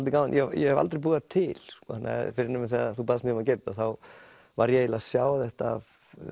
ég hef aldrei búið þær til fyrr en þú baðst mig um að gera þetta þá var ég eiginlega að sjá þetta